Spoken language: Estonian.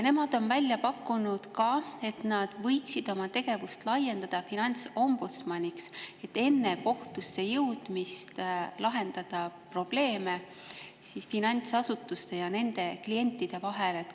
Nemad on välja pakkunud, et nad võiksid oma tegevust laiendada finantsombudsmani, et enne kohtusse jõudmist lahendada probleeme finantsasutuste ja nende klientide vahel.